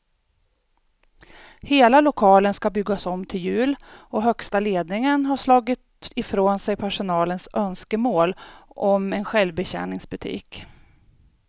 Hela lokalen ska byggas om till jul och högsta ledningen har slagit ifrån sig personalens önskemål om en självbetjäningsbutik.